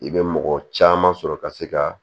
I bɛ mɔgɔ caman sɔrɔ ka se ka